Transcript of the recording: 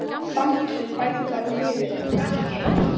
Samkeppnin bætir bara liðið er það ekki?